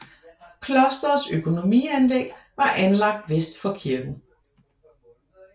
Klostrets økonomianlæg var anlagt vest for kirken